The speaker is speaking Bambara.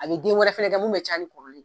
A bi den wɛrɛ fɛnɛ kɛ mun bɛ caya ni kɔrɔlen ye.